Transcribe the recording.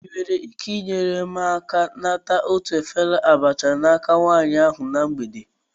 Ị nwere ike inyere m aka ịnata otu efere abacha n'aka nwanyị ahụ na mgbede a?